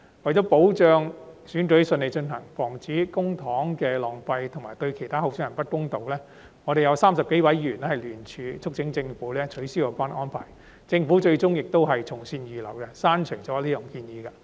為了保障選舉順利進行、防止浪費公帑及對其他候選人不公道，我們有30多位議員聯署促請政府取消有關安排，政府最終亦從善如流，刪除這項建議。